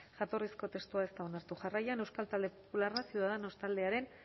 jatorrizko testua ez da onartu jarraian euskal talde popularra ciudadanos taldearen